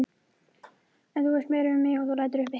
Að þú veist meira um mig en þú lætur uppi.